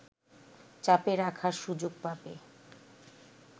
চাপে রাখার সুযোগ পাবে